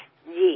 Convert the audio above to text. जी